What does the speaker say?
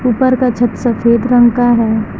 ऊपर का छत सफेद रंग का है।